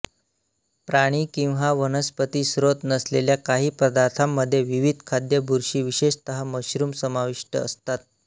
प्राणी किंवा वनस्पती स्त्रोत नसलेल्या काही पदार्थांमध्ये विविध खाद्य बुरशी विशेषत मशरूम समाविष्ट असतात